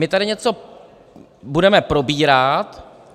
My tady něco budeme probírat.